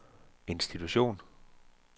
institution